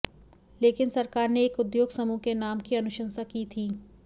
लेकिन सरकार ने एक उद्योग समूह के नाम की अनुशंसा की थी